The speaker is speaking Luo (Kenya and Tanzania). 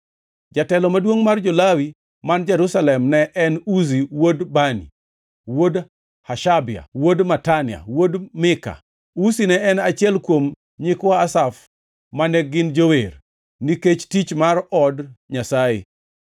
Jatelo maduongʼ mar jo-Lawi man Jerusalem ne en Uzi wuod Bani, wuod Hashabia, wuod Matania, wuod Mika. Uzi ne en achiel kuom nyikwa Asaf, ma ne gin jower, nikech tich mar od Nyasaye.